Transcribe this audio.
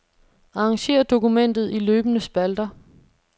Arrangér dokumentet i løbende spalter.